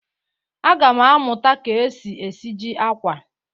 Aga m amụta ka e si esiji akwa.